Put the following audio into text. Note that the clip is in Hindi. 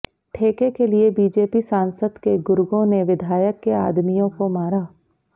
ठेके के लिए बीजेपी सांसद के गुर्गों ने विधायक के आदमियों को मारा